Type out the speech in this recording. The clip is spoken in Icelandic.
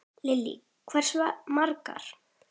Lillý: Hversu margar?